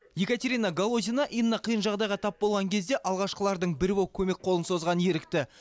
екатерина голотина инна қиын жағдайға тап болған кезде алғашқылардың бірі болып көмек қолын созған ерікті